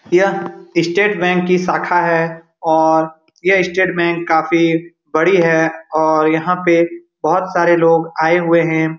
यह state bank की शाखा है और ये स्टेट बैंक काफी बड़ी है और यहाँ पे बोहोत सारे लोग आए हुए हैं |